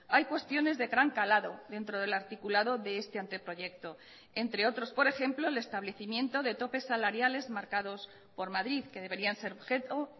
hay cuestiones de gran calado dentro del articulado de este anteproyecto entre otros por ejemplo el establecimiento de topes salariales marcados por madrid que deberían ser objeto